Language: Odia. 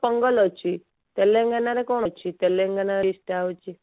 ପୋଙ୍ଗଲ ଅଛି ତେଲେଙ୍ଗାନା ରେ କଣ ଅଛି ତେଲେଙ୍ଗାନା dish ଟା ହଉଛି